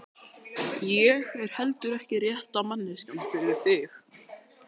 Ég er heldur ekki rétta manneskjan fyrir þig.